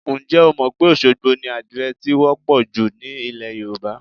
Ǹjẹ́ o mọ̀ pé Òṣogbo ni àdìrẹ ti wọ́ pọ̀ jù ní ilẹ̀ Yorùbá?